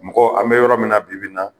Mɔgɔ an be yɔrɔ min na bibi in na